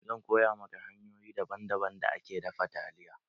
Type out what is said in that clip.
Zan koya maka hanyoyin daban daban da ake dafa taliya.